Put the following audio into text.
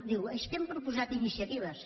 diu és que hem proposat iniciatives